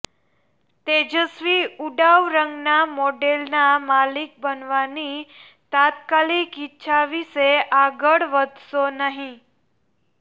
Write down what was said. તેજસ્વી ઉડાઉ રંગના મોડેલના માલિક બનવાની તાત્કાલિક ઇચ્છા વિશે આગળ વધશો નહીં